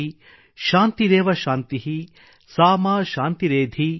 ಶಾಂತಿರೇವ ಶಾಂತಿಃ | ಸಾ ಮಾ ಶಾಂತಿರೇಧಿ ||